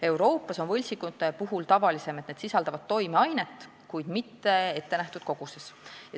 Euroopas on tavalisem, et võltsingud küll sisaldavad toimeainet, kuid mitte ettenähtud koguses.